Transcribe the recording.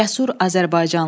Cəsur azərbaycanlı.